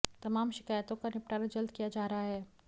तमाम शिकायतों का निपटारा जल्द किया जा रहा है